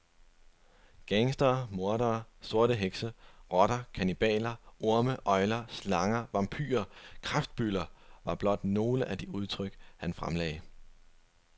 Gangstere, mordere, sorte hekse, rotter, kannibaler, orme, øgler, slanger, vampyrer, kræftbylder, var blot nogle af de udtryk han fremlagde.